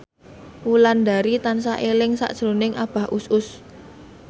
Wulandari tansah eling sakjroning Abah Us Us